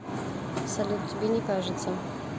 салют тебе не кажется